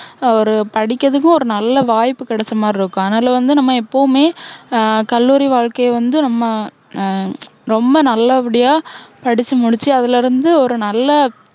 ஒரு படிக்குறதுக்கு ஒரு நல்ல வாய்ப்பு கிடைச்ச மாதிரி இருக்கும். அதனால வந்து நம்ம எப்போவுமே ஆஹ் கல்லூரி வாழ்க்கைய வந்து நம்ம, ஹம் ரொம்ப நல்ல படியா படிச்சு முடிச்சு, அதுல இருந்து ஒரு நல்ல வேலை